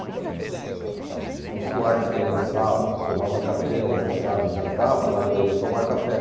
Então o Soares, que almoçava, tomava café, almoçava e jantava, largou de tomar café.